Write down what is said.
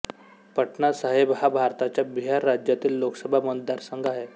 पटना साहिब हा भारताच्या बिहार राज्यातील लोकसभा मतदारसंघ आहे